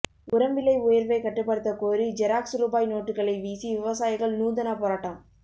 உரம் விலை உயர்வை கட்டுப்படுத்தக்கோரி ஜெராக்ஸ் ரூபாய் நோட்டுகளை வீசி விவசாயிகள் நூதன போராட்டம்